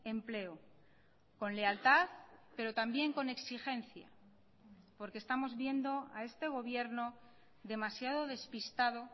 empleo con lealtad pero también con exigencia porque estamos viendo a este gobierno demasiado despistado